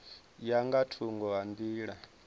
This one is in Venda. ya nga thungo ha nḓila